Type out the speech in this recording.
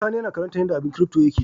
Sani yAna karantar yace abun crypto yake